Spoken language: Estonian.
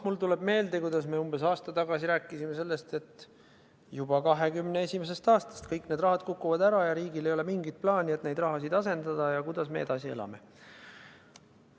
Mulle tuleb meelde, kuidas me umbes aasta tagasi rääkisime, et juba 2021. aastast hakkavad kõik need rahad ära kukkuma ja riigil ei ole mingit plaani, kuidas neid rahasid asendada, ja kuidas me edasi elame.